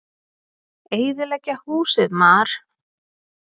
Eyðileggja húsið, mar!